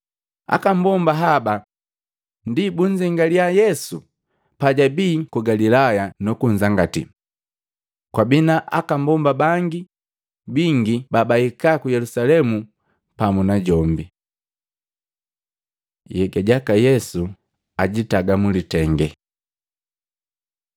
Aka mbomba haba ndi babunzengalya Yesu pajabii ku Galilaya nukunzangatii. Kwabii na aka mbomba bangi bingi babahika ku Yelusalemu pamu najombi. Nhega jaka Yesu abeka mlitenge Matei 27:57-61; Luka 23:50-56; Yohana 19:38-42